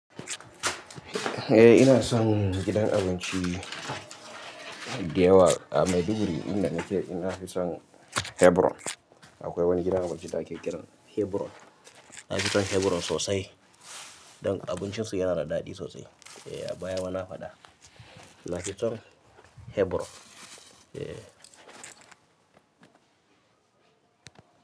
Eh ina son gidan abinci da yawa a Maiduguri inda nake ina fi son Hebron. Akwai wani gidan abinci da ake kiran Hebron. Na fi son Hebron sosai don abincinsu yana da daɗi sosai. Eh a baya ma na faɗa. Na fi son Hebron. Eh.